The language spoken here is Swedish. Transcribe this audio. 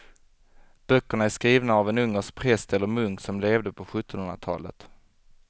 Böckerna är skrivna av en ungersk präst eller munk som levde på sjuttonhundratalet.